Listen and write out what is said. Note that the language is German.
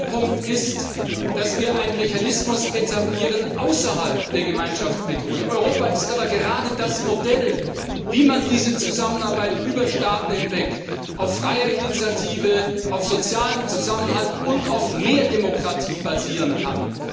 Der zweite Punkt ist, dass wir damit einen Mechanismus außerhalb der Gemeinschaftsmethode etablieren. Europa ist aber gerade das Modell dafür, wie diese Zusammenarbeit über Staaten hinweg auf freier Initiative, auf sozialem Zusammenhalt und auf mehr Demokratie basieren kann.